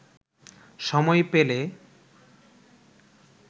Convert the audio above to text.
সময় পেলে